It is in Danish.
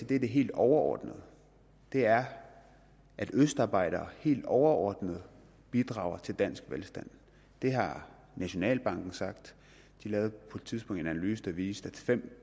det helt overordnede og det er at østarbejdere helt overordnet bidrager til dansk velstand det har nationalbanken sagt de lavede på et tidspunkt en analyse der viste at fem